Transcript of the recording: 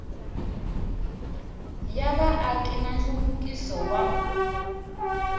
ya vaaki na nhluvukiso wa